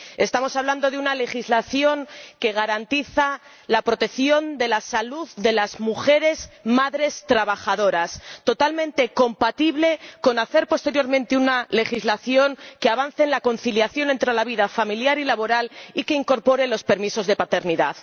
Estamos hablando de una legislación que garantiza la protección de la salud de las mujeres madres trabajadoras totalmente compatible con elaborar posteriormente una legislación que avance en la conciliación entre la vida familiar y laboral y que incorpore los permisos de paternidad.